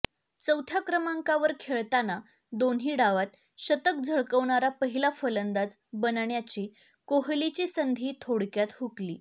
चौथ्या क्रमांकावर खेळताना दोन्ही डावांत शतक झळकावणारा पहिला फलंदाज बनण्याची कोहलीची संधी थोडक्यात हुकली